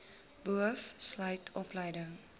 boov sluit opleiding